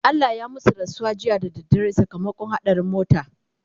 Allah ya masu rasuwa jiya da dare sakamakon haɗarin mota